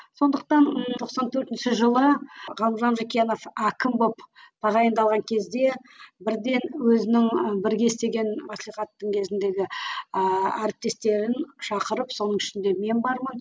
сондықтан тоқсан төртінші жылы ғалымжан жақиянов әкім болып тағайындалған кезде бірден өзінің і бірге істеген маслихаттың кезіндегі ііі әріптестерін шақырып соның ішінде мен бармын